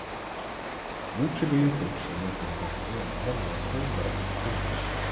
Nútímalíf fólks er með þeim hætti að álfar höfða ekki til þess.